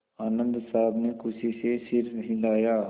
आनन्द साहब ने खुशी से सिर हिलाया